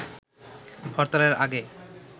হরতালের আগে